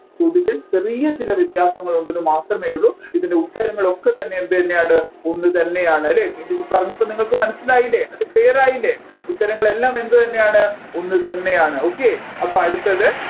ചോദ്യത്തിൽ ചെറിയ ചില വ്യത്യാസങ്ങൾ ഉണ്ടെന്ന് മാത്രമേ ഉള്ളു ഇതിൻെറ ഉത്തരങ്ങൾ ഒക്കെ തന്നെ എന്തുതന്നെയാണ് ഒന്നുതന്നെയാണ് അല്ലെ ഇതിൽ പറഞ്ഞപ്പോൾ നിങ്ങൾക്ക് മനസ്സിലായില്ലേ അത് clear റായില്ലേ ഉത്തരങ്ങൾ എല്ലാം എന്തുതന്നെയാണ് ഒന്നുതന്നെയാണ് okay അപ്പോ അടുത്തത്